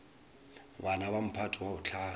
bana ba mphato wa bohlano